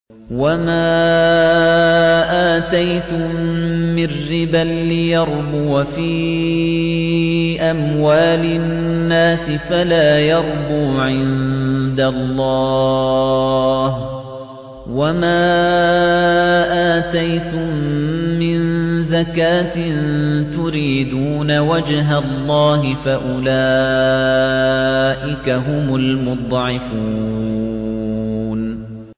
وَمَا آتَيْتُم مِّن رِّبًا لِّيَرْبُوَ فِي أَمْوَالِ النَّاسِ فَلَا يَرْبُو عِندَ اللَّهِ ۖ وَمَا آتَيْتُم مِّن زَكَاةٍ تُرِيدُونَ وَجْهَ اللَّهِ فَأُولَٰئِكَ هُمُ الْمُضْعِفُونَ